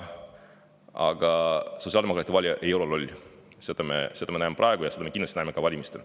Aga sotsiaaldemokraatide valija ei ole loll, seda me näeme praegu ja seda me näeme kindlasti ka valimistel.